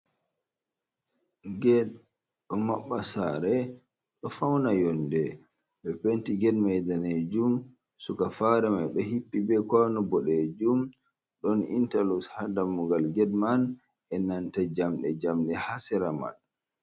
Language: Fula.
Ged ɗo maɓɓa sare, ɗo fauna yonde be penti ged may danejum, sara fare mai bo hippi be kwano boɗejum, ɗon intaloks ha dammugal ged man, e nanta jamɗe jamɗe hasera man.